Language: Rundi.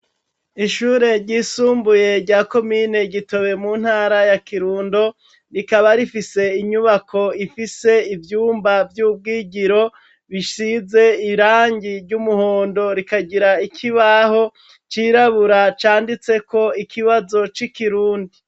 Ishure ry'isumbuye rya komine Gitobe mu ntara ya Kirundo rikaba rifise inyubako ifise ivyumba vy'ubwigiro bishize irangi ry'umuhondo rikagira ikibaho cirabura canditseko ikibazo c'ikirundi.